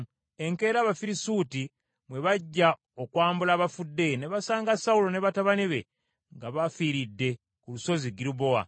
Enkeera, Abafirisuuti bwe bajja okwambula abafudde, ne basanga Sawulo ne batabani be nga bafiiridde ku Lusozi Girubowa.